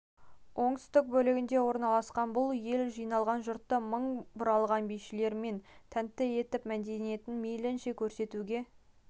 оңтүстік бөлігінде орналасқан бұл ел жиылған жұртты мың бұралған бишілерімен тәнті етіп мәдениетін мейлінше көрсетуге